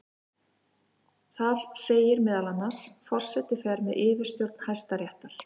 Þar segir meðal annars: Forseti fer með yfirstjórn Hæstaréttar.